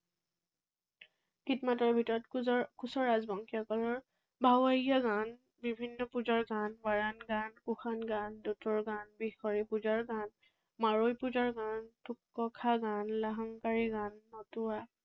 গীত মাতৰ ভিতৰত কোচৰ লকোচ ৰাজবংশীসকলৰ ভাৱৰীয়া গান, বিভিন্ন পূজাৰ গান, মৰাণ গান, কুশান গান, দূতৰ গান, পূজাৰ গান, মাৰৈ পূজাৰ গান, গান